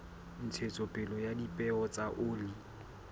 ntshetsopele ya dipeo tsa oli